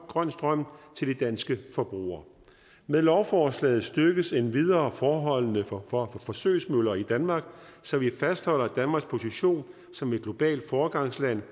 grøn strøm til de danske forbrugere med lovforslaget styrkes endvidere forholdene for for forsøgsmøller i danmark så vi fastholder danmarks position som et globalt foregangsland